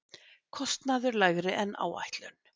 Kostnaður lægri en áætlun